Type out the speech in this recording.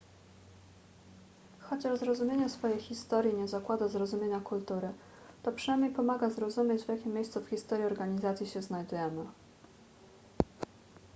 chociaż zrozumienie swojej historii nie zakłada zrozumienia kultury to przynajmniej pomaga zrozumieć w jakim miejscu w historii organizacji się znajdujemy